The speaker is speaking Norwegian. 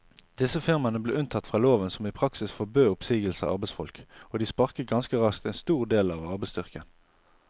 Disse firmaene ble unntatt fra loven som i praksis forbød oppsigelse av arbeidsfolk, og de sparket ganske raskt en stor del av arbeidsstyrken.